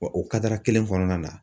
Wa o kelen kɔnɔna na.